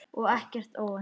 Og ekkert óvænt.